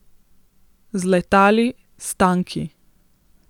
Z letali, s tanki.